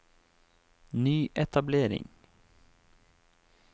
nyetablering